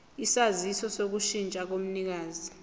isaziso sokushintsha komnikazi